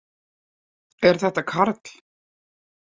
Er þetta Karl?